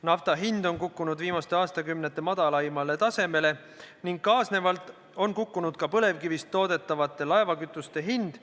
Nafta hind on kukkunud viimaste aastakümnete madalaimale tasemele ning kaasnevalt on kukkunud ka põlevkivist toodetava laevakütuse hind.